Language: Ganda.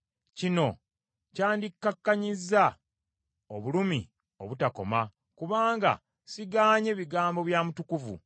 Kino kyandikkakkanyizza obulumi obutakoma kubanga sigaanye bigambo bya Mutukuvu.